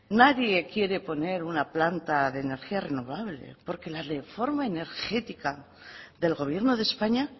nadie quiere poner una planta de energía renovable porque la reforma energética del gobierno de españa